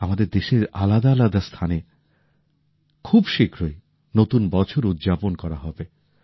আমাদের দেশের আলাদা আলাদা স্থানে খুব শীঘ্রই নতুন বছর উদযাপন করা হবে